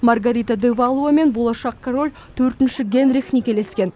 маргарита де валуа мен болашақ король төртінші генрих некелескен